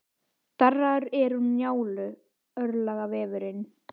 Darraðar er úr Njálu, örlagavefurinn.